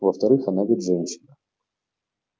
во-вторых она ведь женщина